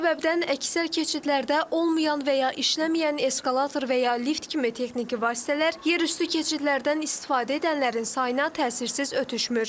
Bu səbəbdən əksər keçidlərdə olmayan və ya işləməyən eskalator və ya lift kimi texniki vasitələr yerüstü keçidlərdən istifadə edənlərin sayına təsirsiz ötüşmür.